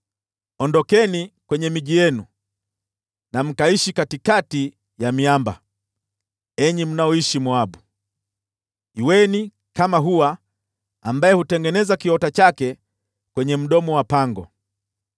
Ondokeni kwenye miji yenu, mkaishi katikati ya miamba, enyi mnaoishi Moabu. Kuweni kama huwa ambaye hutengeneza kiota chake kwenye mdomo wa pango.